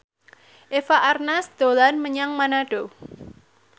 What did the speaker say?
Eva Arnaz dolan menyang Manado